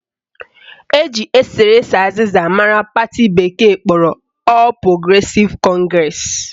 Eji eserese azịza mara pati bekee kpọrọ All Progressive Congress